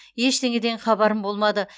ештеңеден хабарым болмады